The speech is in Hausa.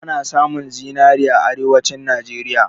Ana samun zinari a arewanci Najeriya